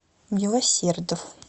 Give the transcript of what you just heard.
милосердов